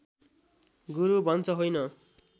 गुरु भन्छ होइन